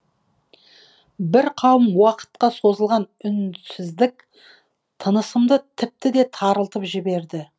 бір қауым уақытқа созылған үнсіздік тынысымды тіпті де тарылтып жіберді